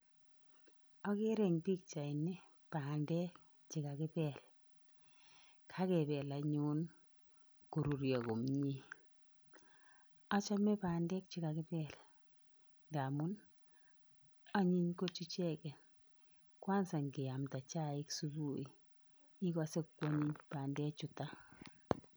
Akere en pichaini bandek chekakipel ,kakepel anyun korurio komie achome bandek chekakipel ngamu anyin kot icheket kwanza neamda chaik subuhi ikose kwonyiny bandechutok.